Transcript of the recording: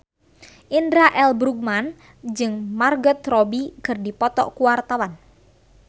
Indra L. Bruggman jeung Margot Robbie keur dipoto ku wartawan